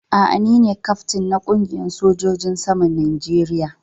A'a, ni na kyaftin na kungiyan sojojin saman Najeriya.